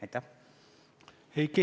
Aitäh!